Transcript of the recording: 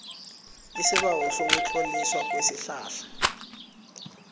isibawo sokutloliswa kwesihlahla